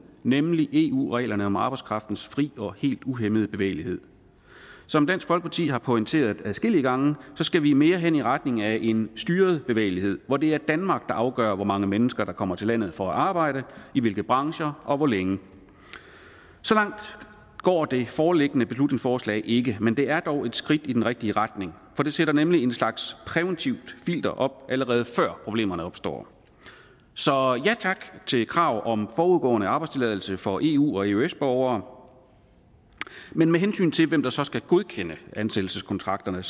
nemlig eu reglerne om arbejdskraftens fri og helt uhæmmede bevægelighed som dansk folkeparti har pointeret adskillige gange skal vi mere hen i retning af en styret bevægelighed hvor det er danmark der afgør hvor mange mennesker der kommer til landet for at arbejde i hvilke brancher og hvor længe så langt går det foreliggende beslutningsforslag ikke men det er dog et skridt i den rigtige retning for det sætter nemlig en slags præventivt filter op allerede før problemerne opstår så ja tak til krav om forudgående arbejdstilladelse for eu og eøs borgere men med hensyn til hvem der så skal godkende ansættelseskontrakterne